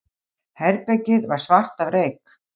Herbergið var svart af reyk.